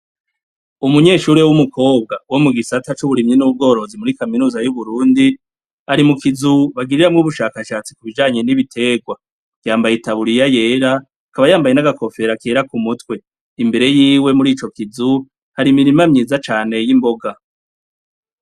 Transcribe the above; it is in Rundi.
Umunyeshure w'umukobwa, wo mu gisata c'uburimyi n'ubworozi muri kaminuza y'Uburundi, ari mu kizu bagiriramwo ubushakashatsi ku bijanye n'ibiterwa. Yambaye itaburiya yera, akaba yambaye n'agakofera kera ku mutwe. Imbere y'iwe muri ico kizu, hari imirima myiza cane y'imboga.